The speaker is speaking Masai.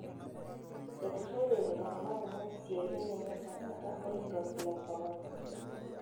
Eituraitie iltung'ana kumok isiatin enye tenkata olkirobi le korona.